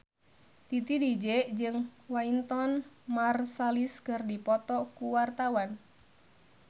Titi DJ jeung Wynton Marsalis keur dipoto ku wartawan